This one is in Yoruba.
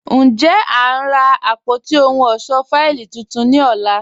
Njẹ́, a n rá àpótí òhùn ọṣọ́ fáìlì tuntun ní ọ̀là?